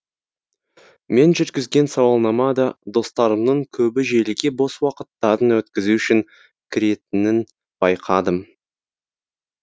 мен жүргізген сауалнама да достарымның көбі желіге бос уақыттарын өткізу үшін кіретінін байқадым